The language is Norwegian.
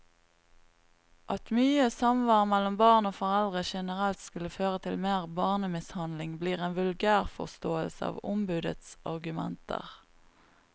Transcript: At mye samvær mellom barn og foreldre generelt skulle føre til mer barnemishandling, blir en vulgærforståelse av ombudets argumenter.